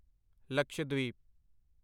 Lakshadweep